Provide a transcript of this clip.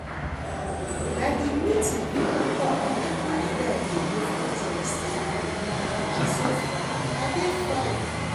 Na the meeting for alcohol abuse wey I dey go for church save me and so far I dey fine